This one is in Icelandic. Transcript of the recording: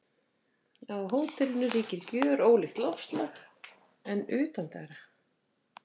Á hótelinu ríkir gjörólíkt loftslag en utandyra.